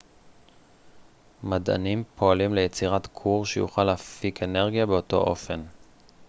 מדענים פועלים ליצירת כור שיוכל להפיק אנרגיה באותו אופן